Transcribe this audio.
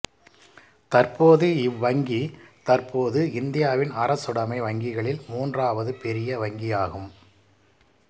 தற்போது இவ்வங்கி தற்போது இந்தியாவின் அரசுடமை வங்கிகளில் மூன்றாவது பெரிய வங்கியாகும்